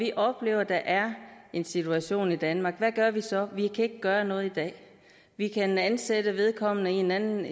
vi oplever at der er en situation i danmark hvad gør vi så vi kan ikke gøre noget i dag vi kan ansætte vedkommende i en anden